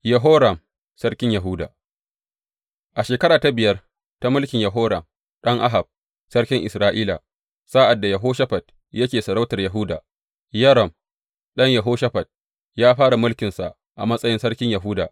Yehoram sarkin Yahuda A shekara ta biyar ta mulkin Yoram ɗan Ahab, sarkin Isra’ila, sa’ad da Yehoshafat yake sarautar Yahuda, Yoram ɗan Yehoshafat, ya fara mulkinsa a matsayin sarkin Yahuda.